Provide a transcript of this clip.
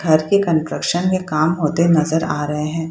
घर के कंस्ट्रक्शन के काम होते नजर आ रहे हैं।